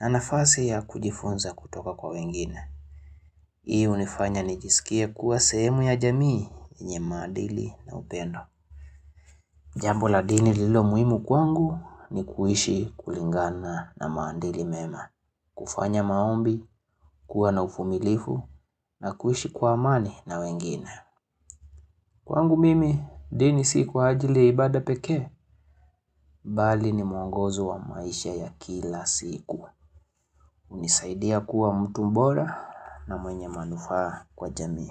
na nafasi ya kujifunza kutoka kwa wengine. Hii unifanya nijisikie kuwa sehemu ya jamii yenye maandili na upendo. Jambo la dini lilo muimu kwangu ni kuhishi kulingana na maandili mema. Kufanya maombi, kuwa na ufumilifu na kuhishi kwa amani na wengine. Kwangu mimi, dini si kwa ajili ya ibada pekee Bali ni mwongozo wa maisha ya kila siku unisaidia kuwa mtu mbora na mwenye manufaa kwa jamii.